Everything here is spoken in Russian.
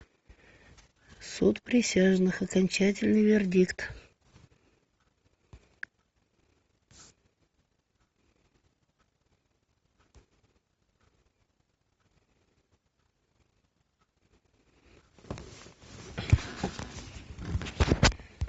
суд присяжных окончательный вердикт